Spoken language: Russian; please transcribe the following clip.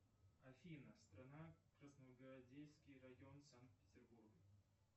афина страна красногвардейский район санкт петербург